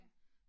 Ja